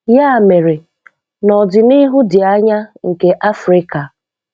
Ya mere, n'ọdịnihu dị anya nke Africa.